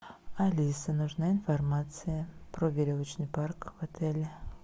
алиса нужна информация про веревочный парк в отеле